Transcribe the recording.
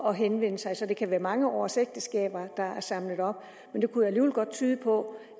at henvende sig så det kan være mange års ægteskaber der er samlet op men det kunne alligevel godt tyde på